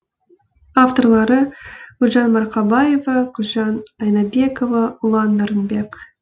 авторлары гүлжан марқабаева гүлжан айнабекова ұлан нарынбек